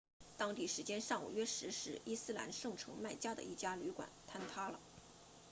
当地时间上午约十时伊斯兰圣城麦加的一家旅馆坍塌了